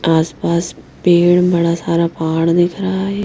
आसपास पेड़ बड़ा सारा पहाड़ दिख रहा है।